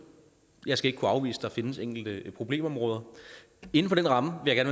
jeg skal ikke kunne afvise at der findes enkelte problemområder inden for den ramme vil jeg